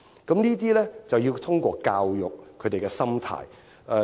我們要透過教育，改變他們的心態。